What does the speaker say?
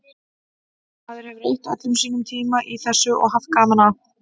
Maður hefur eytt öllum sínum tíma í þessu og haft gaman að.